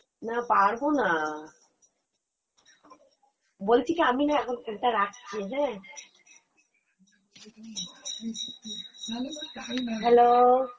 না, পারবো না, বলছি কি আমি না এখন phone টা রাখছি হ্যাঁ, hello।